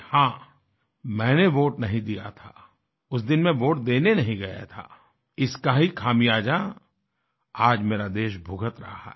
हाँ मैंने वोट नहीं दिया था उस दिन मैं वोट देने नहीं गया था इसका ही ख़ामियाजा आज मेरा देश भुगत रहा है